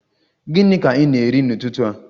Gịnị ka ị na-eri n'ụtụtụ a?